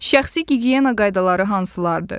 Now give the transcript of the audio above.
Şəxsi gigiyena qaydaları hansılardır?